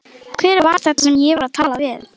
Hver var þetta sem ég var að tala við?